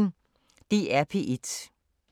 DR P1